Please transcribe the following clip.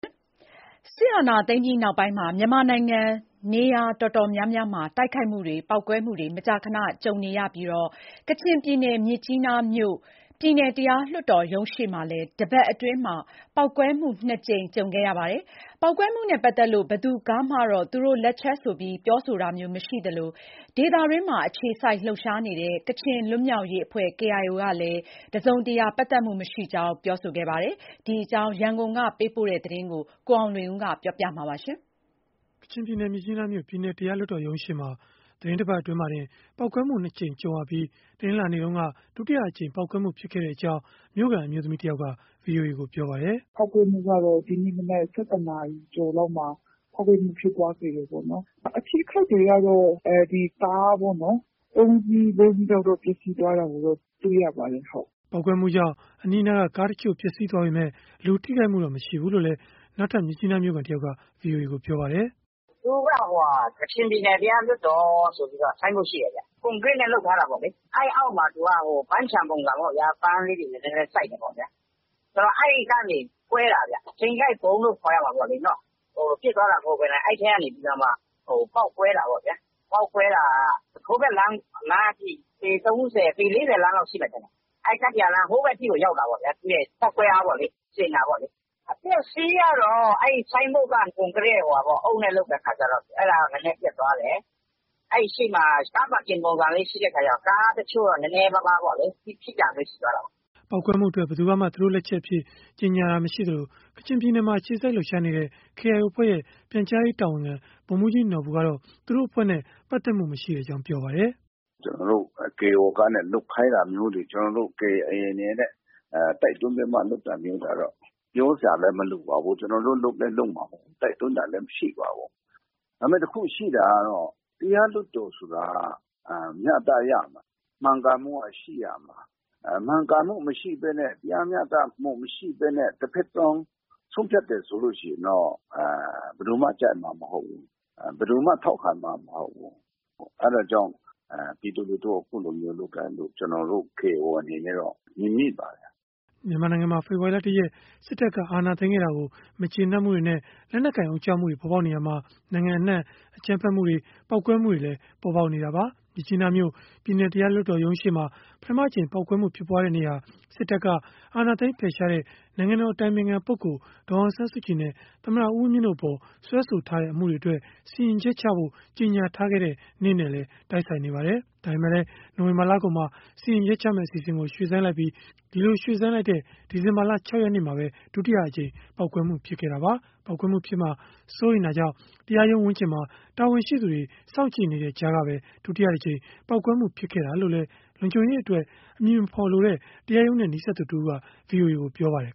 စစ်အာဏာသိမ်းပြီးနောက်ပိုင်း မြန်မာနိုင်ငံ နေရာတော်တော်များများမှာ တိုက်ခိုက်မှုတွေ ပေါက်ကွဲမှုတွေ မကြာခဏ ကြုံနေရပြီး ကချင်ပြည်နယ် မြစ်ကြီးနားမြို့ ပြည်နယ်တရားလွှတ်တော်ရုံးရှေ့မှာလည်း တပတ်အတွင်း ပေါက်ကွဲမှု ၂ ကြိမ် ကြုံခဲ့ရပါတယ်။ ပေါက်ကွဲမှုနဲ့ ပတ်သက်လို့ ဘယ်သူကမှတော့ သူတို့လက်ချက်ဆိုပြီး ပြောဆိုတာမျိုး မရှိသလို ဒေသတွင်းမှာ အခြေစိုက် လှုပ်ရှားနေတဲ့ ကချင်လွတ်မြောက်ရေးအဖွဲ့ ကလည်း တစုံတရာ ပတ်သက်မှုမရှိကြောင်း ပြောဆိုခဲ့တာပါ။ ဒီအကြောင်း ရန်ကုန်ကပေးပို့တဲ့ သတင်းကို ကိုအောင်လွင်ဦး ပြောပြမှာ ဖြစ်ပါတယ်။ ကချင်ပြည်နယ်၊ မြစ်ကြီးနားမြို့ ပြည်နယ်တရားလွှတ်တော်ရုံးရှေ့မှာ သီတင်းတပတ် အတွင်းမှာတင် ပေါက်ကွဲမှု ၂ ကြိမ် ကြုံခဲ့ရပြီး တနင်္လာနေ့က ဒုတိယအကြိမ် ပေါက်ကွဲမှု ဖြစ်ခဲ့ကြောင်း မြို့ခံအမျိုးသမီးတဦးက ဗွီအိုအေကို ပြောပါတယ်။ “ပေါက်ကွဲမှုကတော့ ဒီနေ့မနက် ၁၁ နာရီကျော်လောက်မှာ ပေါက်ကွဲမှု ဖြစ်ပွားခဲ့တယ်ပေါ့နော်။ အထိအခိုက်ကတော့ ဒီကားပေါ့နော်၊ ၃ စီး၊ ၄ စီးလောက်တော့ ပျက်စီးသွားတာကိုတော့ တွေ့ရပါတယ်။” ပေါက်ကွဲမှုကြောင့် အနီးအနားက ကားတချို့ ပျက်စီးခဲ့ပေမယ့် လူထိခိုက်မှုတော့ မရှိဘူးလို့လည်း နောက်ထပ် မြစ်ကြီးနားမြို့ခံတယောက်က ပြောပါတယ်။ “သူက ကချင်ပြည်နယ် တရားလွှတ်တော်ဆိုပြီး ဆိုင်းဘုတ်ရှိတယ်ဗျ။ ကွန်ကရစ်နဲ့ လုပ်ထားတာပေါ့။ အဲဒီအောက်မှာ ပန်းခြံပုံစံပေါ့။ ပန်းလေးတွေ နည်းနည်းစိုက်တယ်ပေါ့ဗျာ။ အဲဒီကနေ ကွဲတာဗျ။ ချိန်ကိုက်ဗုံးလို့ ခေါ်ရမှာပေါ့လေ။ ပစ်သွားတာမဟုတ်ဘဲနဲ့ အဲဒီထဲကနေ ပေါက်ကွဲတာပေါ့ဗျာ။ ပေါက်ကွဲတာက ဟိုဘက်လမ်းအထိ ပေ ၃၀၊ ပေ ၄၀ လမ်းလောက် ရှိမယ်ထင်တယ်။ အဲဒီကတ္တရာလမ်း ဟိုဘက်ထိကို ရောက်တာပေါ့ဗျာ။ သူ့ရဲ့ ပေါက်ကွဲအားပေါ့လေ၊ စင်တာပေါ့။ အပျက်အစီးကတော့ အဲဒီဆိုင်းဘုတ်က အုတ်နဲ့လုပ်တာဆိုတော့ အဲဒီဆိုင်းဘုတ် နည်းနည်းပျက်သွားတယ်။ အဲဒီရှေ့မှာ ကားပါကင်ပုံစံမျိုး ရှိတဲ့အခါကျ ကားတချို့တော့ နည်းနည်းပါးပါး ထိတာမျိုး ရှိသွားတာပေါ့။” ပေါက်ကွဲမှုအတွက် ဘယ်သူကမှ သူတို့လက်ချက်အဖြစ် ကြေညာတာ မရှိသလို ကချင်ပြည်နယ်မှာ အခြေစိုက် လှုပ်ရှားနေတဲ့ KIO အဖွဲ့ရဲ့ ပြန်ကြားရေးတာဝန်ခံ ဗိုလ်မှူးကြီးနော်ဘူကတော့ သူတို့အဖွဲ့နဲ့ ပတ်သက်မှုမရှိကြောင်း ပြောပါတယ်။ “ကျနော်တို့ KIO ကနေ လုပ်ခိုင်းတာမျိုးတွေ၊ ကျနော်တို့ KIO အနေနဲ့ တိုက်တွန်းပြီးတော့ လုပ်တာမျိုးတွေကတော့ ပြောစရာလည်း မလိုပါဘူး။ ကျနော်တို့ လုပ်လည်းမလုပ်ပါဘူး။ တိုက်တွန်းတာလည်း မရှိပါဘူး။ ဒါပေမယ့် တခုရှိတာကတော့ တရားလွှတ်တော်ဆိုတာက မျှတရမယ်။ မှန်ကန်မှုရှိရမယ်။ မှန်ကန်မှုမရှိဘဲနဲ့ တရားမျှတမှု မရှိဘဲနဲ့ တဖက်စောင်း ဆုံးဖြတ်တယ်ဆိုရင်တော့ ဘယ်သူမှ ကြိုက်မှာမဟုတ်ဘူး။ ဘယ်သူမှ ထောက်ခံမှာမဟုတ်ဘူး။ အဲဒါကြောင့် ပြည်သူလူထု အဲလိုမျိုးလုပ်တယ်လို့ ကျနော်တို့ KIO အနေနဲ့ မြင်မိပါတယ်။” မြန်မာနိုင်ငံမှာ ဖေဖော်ဝါရီလ ၁ ရက် စစ်တပ်က အာဏာသိမ်းခဲ့တာကို မကျေနပ်မှုတွေနဲ့ လက်နက်ကိုင် အုံကြွမှုတွေ ပေါ်ပေါက်နေရာမှာ နိုင်ငံအနှံ့ အကြမ်းဖက်မှုတွေ၊ ပေါက်ကွဲမှုတွေလည်း ပေါ်ပေါက်နေတာပါ။ မြစ်ကြီးနားမြို့ ပြည်နယ်တရားလွှတ်တော်ရုံးရှေ့မှာ ပထမအကြိမ် ပေါက်ကွဲမှု ဖြစ်ပွားတဲ့နေ့ဟာ စစ်တပ်က အာဏာသိမ်း ဖယ်ရှားခဲ့တဲ့ နိုင်ငံတော်အတိုင်ပင်ခံပုဂ္ဂိုလ် ဒေါ်အောင်ဆန်းစုကြည်နဲ့ သမ္မတ ဦးဝင်းမြင့်တို့အပေါ် စွဲဆိုထားတဲ့ အမှုတွေအတွက် စီရင်ချက်ချဖို့ ကြေညာထားခဲ့တဲ့နေ့နဲ့လည်း တိုက်ဆိုင်နေပါတယ်။ ဒါပေမယ့်လည်း နိုဝင်ဘာလကုန်မှာ စီရင်ချက်ချမယ့် အစီအစဉ်ကို ရွှေ့ဆိုင်းလိုက်ပြီး ဒီလို ရွှေ့ဆိုင်းလိုက်တဲ့ ဒီဇင်ဘာလ ၆ ရက်နေ့မှာ ဒုတိယအကြိမ် ပေါက်ကွဲမှု ဖြစ်ခဲ့တာပါ။ ပေါက်ကွဲမှုဖြစ်မှာ စိုးရိမ်တာကြောင့် တရားရုံးဝန်းကျင်မှာ တာဝန်ရှိသူတွေ စောင့်ကြည့်နေတဲ့ ကြားကပဲ ဒုတိယတကြိမ် ပေါက်ကွဲမှု ဖြစ်ခဲ့တာလို့လည်း လုံခြုံရေးအတွက် အမည်မဖော်လိုတဲ့ တရားရုံးနဲ့ နီးစပ်သူတဦးက ဗွီအိုအေကို ပြောပါတယ်